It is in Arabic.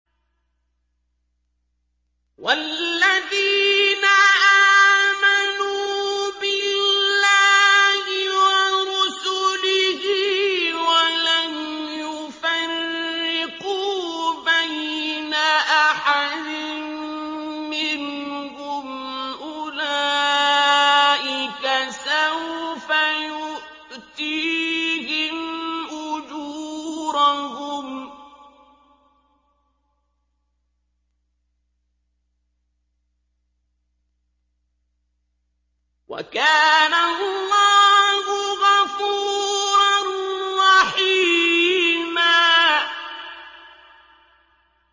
وَالَّذِينَ آمَنُوا بِاللَّهِ وَرُسُلِهِ وَلَمْ يُفَرِّقُوا بَيْنَ أَحَدٍ مِّنْهُمْ أُولَٰئِكَ سَوْفَ يُؤْتِيهِمْ أُجُورَهُمْ ۗ وَكَانَ اللَّهُ غَفُورًا رَّحِيمًا